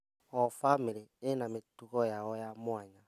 O bamĩrĩ ĩna mĩtugo yayo ya mwanya.